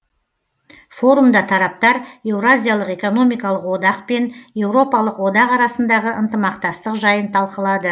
форумда тараптар еуразиялық экономикалық одақ пен еуропалық одақ арасындағы ынтымақтастық жайын талқылады